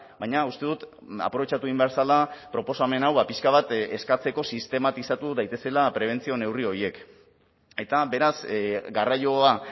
baina uste dut aprobetxatu egin behar zela proposamen hau pixka bat eskatzeko sistematizatu daitezela prebentzio neurri horiek eta beraz garraioa